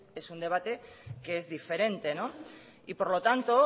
ese es un debate que es diferente y por lo tanto